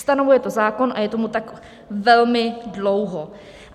Stanovuje to zákon, a je tomu tak velmi dlouho.